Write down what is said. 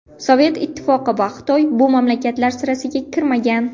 Sovet Ittifoqi va Xitoy bu mamlakatlar sirasiga kirmagan.